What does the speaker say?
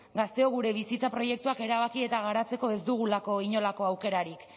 gazteok gure bizitza proiektuak erabaki eta garatzeko ez dugulako inolako aukerarik